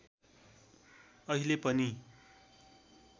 अहिले पनि